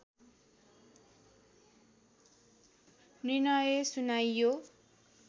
निर्णय सुनाइयो